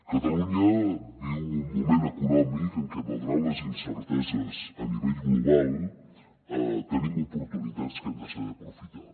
catalunya viu un moment econòmic en què malgrat les incerteses a nivell global tenim oportunitats que hem de saber aprofitar